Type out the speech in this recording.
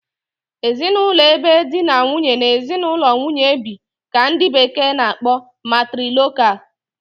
Ezinụlọ ebe di na nwunye na ezinụlọ nwunye bi ka ndị bekee na- akpọ 'Matrilocal'